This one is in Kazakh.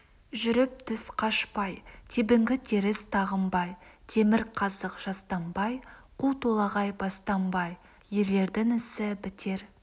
жүріп түс қашпай тебінгі теріс тағынбай темір қазық жастанбай қу толағай бастанбай ерлердің ісі бітер